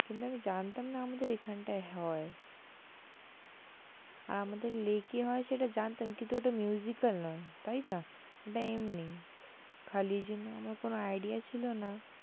কিন্তু আমি জানতাম না, আমাদের এখানটায় হয়, আর আমাদের lake হয় সেটা জানতাম কিন্তু ওটা al নয় তাই তো ওটা এমনি খালি যেন আমার কোনো আইডিয়া ছিল না,